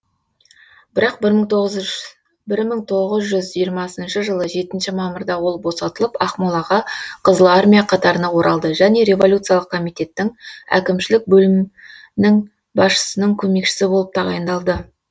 бірақ бір мың тоғыз жүз жиырмасыншы жылы жетінші мамырда ол босатылып ақмолаға қызыл армия қатарына оралды және революциялық комитеттің әкімшілік бөлімнің басшысының көмекшісі болып тағайындалды